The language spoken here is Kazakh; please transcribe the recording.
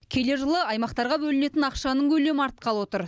келер жылы аймақтарға бөлінетін ақшаның көлемі артқалы отыр